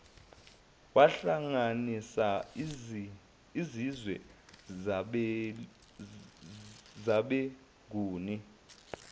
wahlanganisa izizwe zabenguni